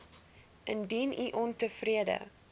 indien u ontevrede